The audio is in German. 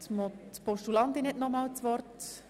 Die Postulantin hat nochmals das Wort.